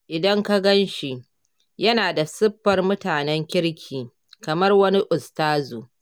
Idan ka gan shi, yana da siffar mutanen kirki, kamar wani ustazu.